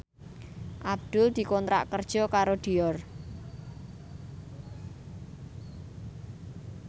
Abdul dikontrak kerja karo Dior